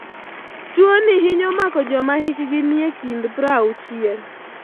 Tuwoni hinyo mako joma hikgi nie kind 60 .